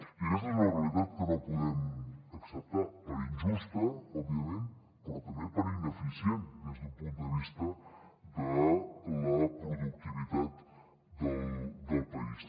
i aquesta és una realitat que no podem acceptar per injusta òbviament però també per ineficient des d’un punt de vista de la productivitat del país